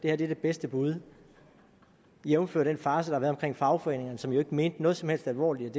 er det bedste bud jævnfør den farce der har været omkring fagforeningerne som jo ikke mente noget som helst alvorligt